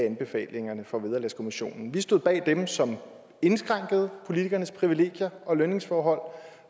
anbefalingerne fra vederlagskommissionen vi stod bag dem som indskrænkede politikernes privilegier og lønningsforhold